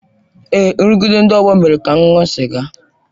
Èé, nrụgide ndị ọgbọ mere ka m ṅụọ sịga.